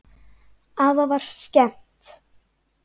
Afa var skemmt.